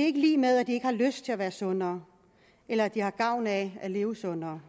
er ikke lig med at de ikke har lyst til at være sundere eller ikke har gavn af at leve sundere